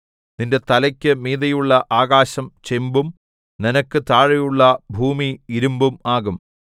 നിന്റെ തലയ്ക്കു മീതെയുള്ള ആകാശം ചെമ്പും നിനക്ക് താഴെയുള്ള ഭൂമി ഇരിമ്പും ആകും